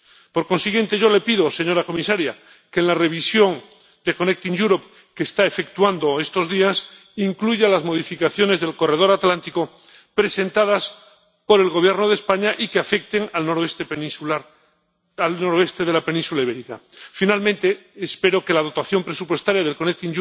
Por consiguiente, yo le pido, señora comisaria, que en la revisión del MCE que está efectuando estos días, incluya las modificaciones del corredor atlántico presentadas por el Gobierno de España y que afecten al noroeste de la península ibérica. Finalmente, espero que la dotación presupuestaria del MCE